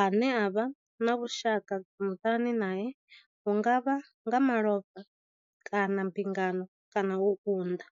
ane vha vha na vhushaka muṱani nae hu nga vha nga malofha, mbingano kana u unḓa.